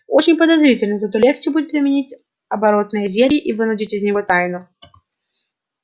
очень подозрительно зато легче будет применить оборотное зелье и вынудить из него тайну